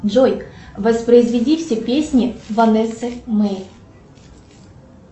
джой воспроизведи все песни ванессы мэй